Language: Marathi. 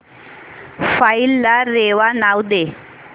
फाईल ला रेवा नाव दे